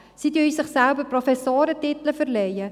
Sie würden sich selbst Professorentitel verleihen;